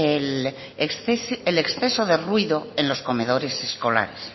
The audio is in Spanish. el exceso de ruido en los comedores escolares